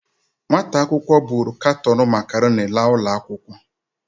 Nwata akwụkwọ buru katon macaroni laa ụlọ akwụkwọ.